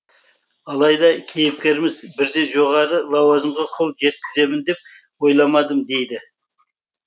алайда кейіпкеріміз бірден жоғары лауазымға қол жеткіземін деп ойламадым дейді